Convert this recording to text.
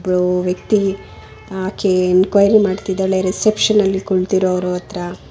ಒಬ್ಳು ವ್ಯಕ್ತಿ ಆಕೆ ಎನ್ಕ್ವೈರಿ ಮಾಡುತ್ತಿದ್ದಾಳೆ ರಿಸೆಪ್ಷನ್ ಅಲ್ಲಿ ಕುಳಿತಿರುವರತ್ರ.